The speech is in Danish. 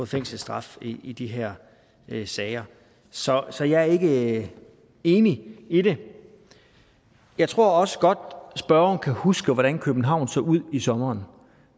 fængselsstraf i de her sager så så jeg er ikke enig i det jeg tror også godt spørgeren kan huske hvordan københavn så ud i sommeren